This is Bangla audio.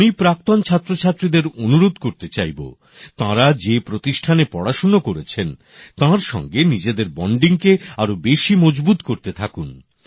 আমি প্রাক্তন ছাত্রছাত্রীদের অনুরোধ করতে চাইব তাঁরা যে প্রতিষ্ঠানে পড়াশোনা করেছেন তার সঙ্গে নিজেদের সম্পর্ককে আরো বেশি মজবুত করতে থাকুন